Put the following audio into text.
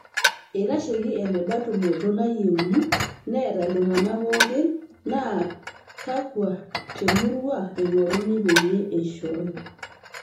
Itasheki enebaa tumoto nayieuni neeta iltunganak pooki naa kakua temurua eingoruni peyie eishoyo.